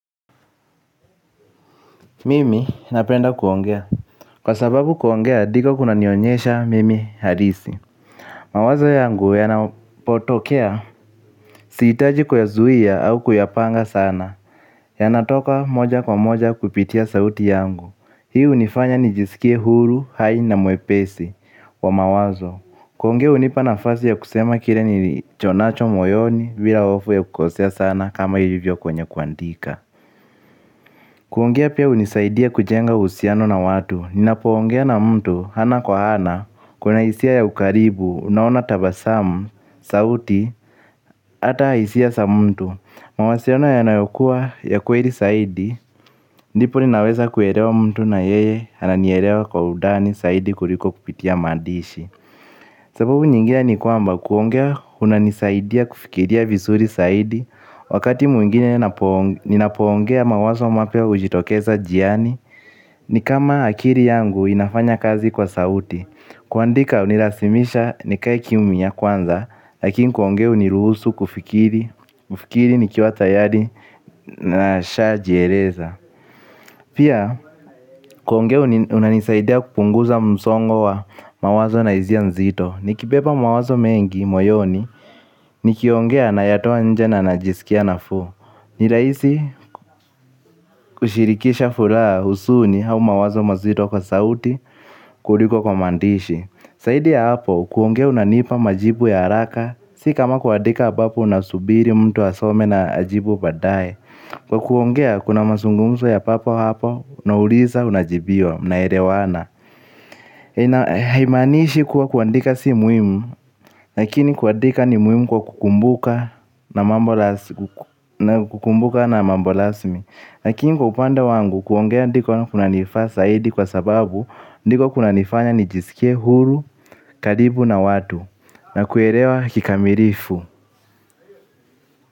Mimi, napenda kuongea. Kwa sababu kuongea, diko kunanionyesha mimi halisi. Mawazo yangu yanapotokea. Sijitaji kwaya zuhia au kuyapanga sana. Yanatoka moja kwa moja kupitia sauti yangu. Hi unifanya nijisikie huru, hai na muepesi. Kwa mawazo. Kuhongea unipa nafasi ya kusema kire nichonacho moyoni bila ofu ya kukosea sana kama hivyo kwenye kuandika. Kuongea pia unisaidia kujenga usiano na watu, ninapoongea na mtu, hana kwa hana, kuna isia ya ukaribu, unaona tabasamu, sauti, ata isia sa mtu, mawasiano yanayokua ya kweri saidi, nipo ninaweza kuerewa mtu na yeye, ananierewa kwa udani, saidi kuliko kupitia madishi. Sababu nyingine ni kwamba kuongea unanisaidia kufikiria visuri saidi. Wakati muingine ninapoongea mawazo mapia ujitokeza jiani. Ni kama akiri yangu inafanya kazi kwa sauti. Kuandika unirasimisha ni kai kiumya kwanza. Lakini kuongea uniruhusu kufikiri. Kufikiri ni kiwa tayari na sha jereza. Pia kuongea unanisaidia kupunguza msongo wa mawazo na izia nzito. Ni kibeba mawazo mengi, moyoni. Ni kiongea na yatoa nje na na jisikia na fuu. Ni raisi kushirikisha fulaa husuni au mawazo mazito kwa sauti kuliko kwa maandishi. Saidi ya hapo, kuongea unanipa majibu ya haraka. Si kama kuadika ambapo unasubiri mtu asome na ajibu badaye. Kwa kuongea, kuna masungumso ya papo hapo. Unauliza unajibiwa, unaelewana. Imanishi kuwa kuandika si muimu lakini kuadika ni muimu kwa kukumbuka na mambo lasmi lakini kupanda wangu kuongea ndiko na kuna nifaa saidi kwa sababu ndiko kuna nifanya nijisikie huru, karibu na wadu na kuerewa kikamirifu.